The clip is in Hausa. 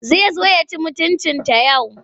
Zai zo ya ci mutuncinta yau.